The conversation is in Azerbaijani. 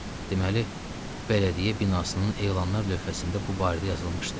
Deməli, bələdiyyə binasının elanlar lövhəsində bu barədə yazılmışdı.